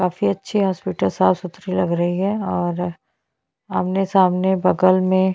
काफी अच्छे हॉस्पिटल साफ सुधरी लग रही है और आमने - सामने बगल मे --